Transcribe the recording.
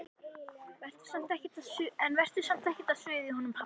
En vertu samt ekkert að suða í honum pabba þínum.